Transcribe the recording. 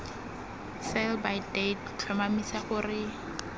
sell by date tlhomamisa gore